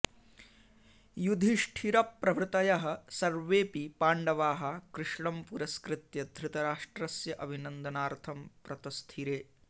युधिष्ठिरप्रभृतयः सर्वेऽपि पाण्डवाः कृष्णं पुरस्कृत्य धृतराष्ट्रस्य अभिनन्दनार्थं प्रतस्थिरे